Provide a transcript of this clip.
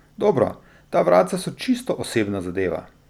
Dobro, ta vratca so čisto osebna zadeva.